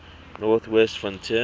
north west frontier